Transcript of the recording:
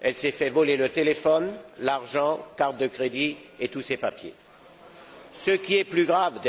Elle s'est fait voler son téléphone, son argent, ses cartes de crédit et tous ses papiers. Ce qui est plus grave, c'est